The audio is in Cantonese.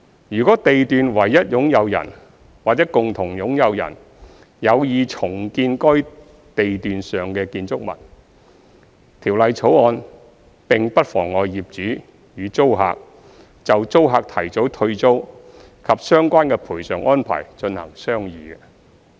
如地段唯一擁有人或共同擁有人有意重建該地段上的建築物，《條例草案》並不妨礙業主與租客就租客提早退租及相關的賠償安排進行商議。